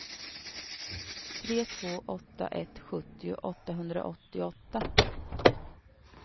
tre två åtta ett sjuttio åttahundraåttioåtta